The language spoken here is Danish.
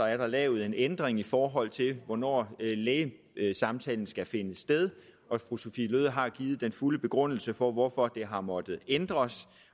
er der lavet en ændring i forhold til hvornår lægesamtalen skal finde sted og fru sophie løhde har givet den fulde begrundelse for hvorfor det har måttet ændres